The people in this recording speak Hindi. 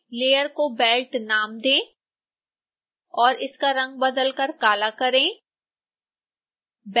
लेयर को belt नाम दें और इसका रंग बदलकर काला करें